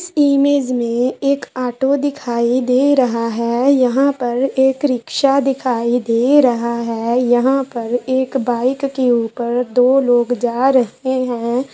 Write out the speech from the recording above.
Image में एक auto दिखाई दे रहा है। यहां पर एक रिक्शा दिखाई दे रहा है यहां पर एक बाइक के ऊपर दो लोग जा रहे हैं।